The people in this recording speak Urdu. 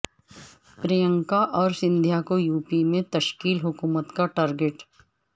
پرینکا اور سندھیا کو یوپی میں تشکیل حکومت کا ٹارگٹ